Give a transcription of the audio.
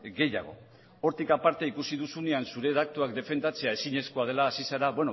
gehiago hortik aparte ikusi duzunean zure datuak defendatzea ezinezkoa dela hasi zara